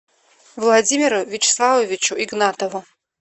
владимиру вячеславовичу игнатову